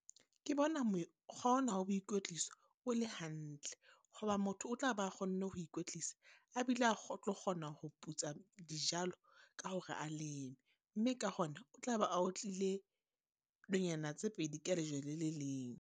Ke bona mokgwa ona wa boikwetliso o le hantle. Ho ba motho o tla ba kgonne ho ikwetlisa, a bile a a tlo kgona ho putsa dijalo ka hore a leme. Mme ka hona, o tla be a otlile nonyana tse pedi ka lejwe le le leng.